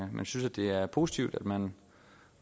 men synes det er positivt at man